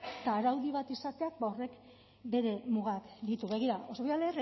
eta araudi bat izateak ba horrek bere mugak ditu begira oso voy a